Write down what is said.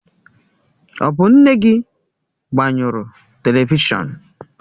Ọ bụ nne gị gbanyụrụ televishọn?